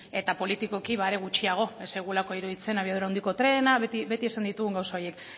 eta politikoki are gutxiago ez zaigulako iruditzen abiadura handiko trena beti esan ditugun gauza horiek